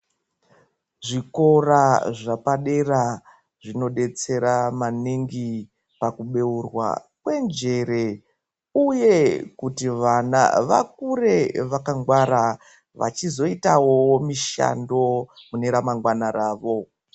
Zvikora zvapadera zvino detsera maningi paku bheurwa kwe njere uye kuti vana vakure vaka ngwara vechizo itawo mushando mune ra mangwana ravo.